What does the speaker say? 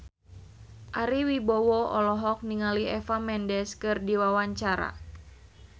Ari Wibowo olohok ningali Eva Mendes keur diwawancara